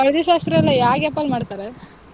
ಹಳ್ದಿ ಶಾಸ್ತ್ರ ಎಲ್ಲಾ ಯಾ gap ಅಲ್ ಮಾಡ್ತಾರೆ?